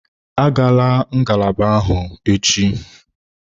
Agala ngalaba ahụ echi!